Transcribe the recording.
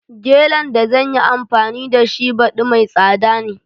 Gelen da zanyi anfani da shi baɗi mai tsada ne